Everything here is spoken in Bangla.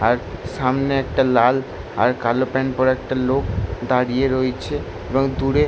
আর সামনে একটা লাল আর কালো প্যান্ট পড়া একটা লোক দাঁড়িয়ে রয়েছে এবং দূরে--